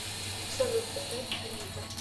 салют поставь анитта